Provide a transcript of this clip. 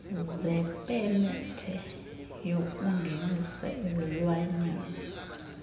zepemethe yokungenisa izilwanyana